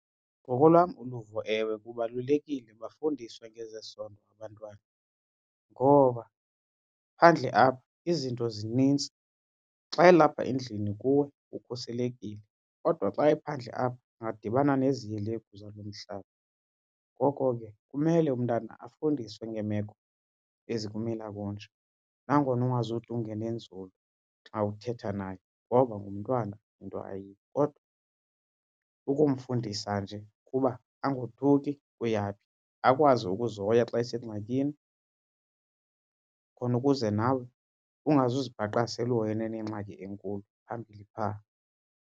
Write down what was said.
Ngokolwam uluvo ewe kubalulekile bafundiswe ngezesondo abantwana, ngoba phandle apha izinto zinintsi. Xa elapha endlini kuwe ukhuselekile kodwa xa ephandle apha angadibana nezihelegu zalo mhlaba. Ngoko ke kumele umntana afundiswe ngeemeko ezikumila kunje nangona ungazude ungene nzulu xa uthetha naye ngoba ngumntwana into ayiyo. Kodwa ukumfundisa nje ukuba angothuki kuya phi akwazi ukuzihoya xa esengxakini, khona ukuze nawe ungazuzibhaqa sele uhoyene nengxakini enkulu phambili phaa.